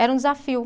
Era um desafio.